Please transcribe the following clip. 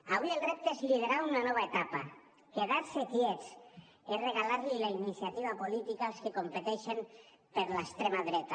avui el repte és liderar una nova etapa quedar se quiets és regalar los la iniciativa política als que competeixen per l’extrema dreta